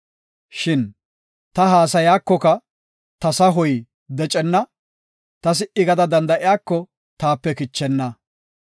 “Shin ta haasaykoka ta sahoy decenna; ta si77i gada danda7ikoka taape kichenna.